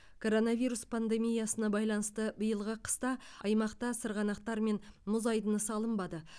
коронавирус пандемиясына байланысты биылғы қыста аймақта сырғанақтар мен мұз айдыны салынбады